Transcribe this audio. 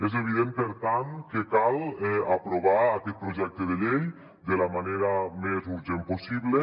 és evident per tant que cal aprovar aquest projecte de llei de la manera més urgent possible